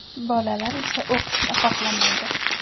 Bolalar esa o‘qishni xohlamaydi.